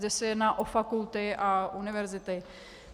Zde se jedná o fakulty a univerzity.